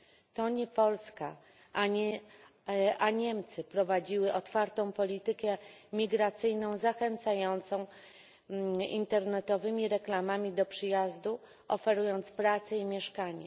To nie Polska, a Niemcy prowadziły otwartą politykę migracyjną zachęcającą internetowymi reklamami do przyjazdu, oferując pracę i mieszkanie.